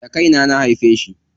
Da kaina na haife shi.